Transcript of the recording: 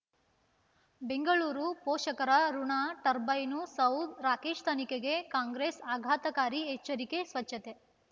ಬೆಂಗಳೂರು ಪೋಷಕರಋಣ ಟರ್ಬೈನು ಸೌ ರಾಕೇಶ್ ತನಿಖೆಗೆ ಕಾಂಗ್ರೆಸ್ ಆಘಾತಕಾರಿ ಎಚ್ಚರಿಕೆ ಸ್ವಚ್ಛತೆ